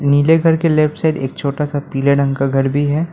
नीले घर के लेफ्ट साइड एक छोटा सा पीले रंग का घर भी है।